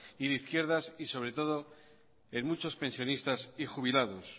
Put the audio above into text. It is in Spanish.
y de izquierdas y sobre todo en muchos pensionistas y jubilados